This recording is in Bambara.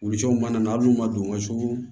Wuluji cɛw mana na hali n'u ma don u ka so